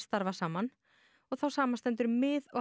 starfað saman þá samanstendur mið og